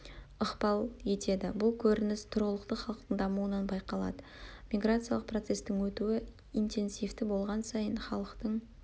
ықпал етеді бұл көрініс тұрғылықты халықтың дамуынан байқалады миграциялық процестің өтуі интенсивті болған сайын халықтың